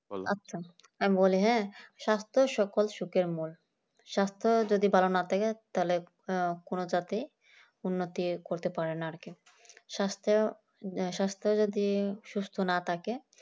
আমি বলি হ্যাঁ স্বাস্থ্য সকল সুখের মন স্বাস্থ্য যদি ভালো না থাকে তাহলে আহ কোনো জাতি উন্নতি করতে পারে না আরকি স্বাস্থ্যে স্বাস্থ্য যদি সুস্থ না থাকে